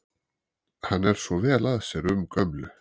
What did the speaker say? Hann er svo vel að sér um gömlu